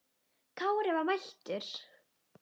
Kári var mættur!